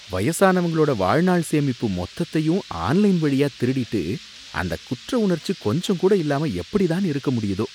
வயசானவங்களோட வாழ்நாள் சேமிப்பு மொத்தத்தையும் ஆன்லைன் வழியா திருடிட்டு, அந்த குற்ற உணர்ச்சி கொஞ்சம் கூட இல்லாம எப்படித்தான் இருக்க முடியுதோ.